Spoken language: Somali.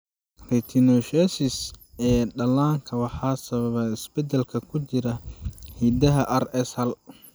retinoschisis ee dhallaanka waxaa sababa isbeddellada ku jira hiddaha RS hal.